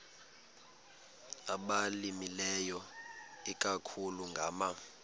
abalimileyo ikakhulu ngama